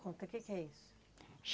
Conta, o que que é isso?